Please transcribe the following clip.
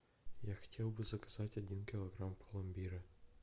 я хотел бы заказать один килограмм пломбира